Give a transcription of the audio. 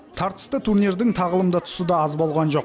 тартысты турнирдің тағылымды тұсы да аз болған жоқ